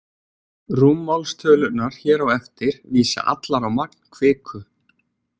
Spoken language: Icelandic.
Rúmmálstölurnar hér á eftir vísa allar á magn kviku.